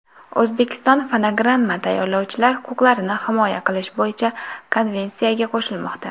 O‘zbekiston fonogramma tayyorlovchilar huquqlarini himoya qilish bo‘yicha konvensiyaga qo‘shilmoqda.